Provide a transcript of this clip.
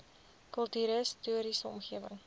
kultuurhis toriese omgewing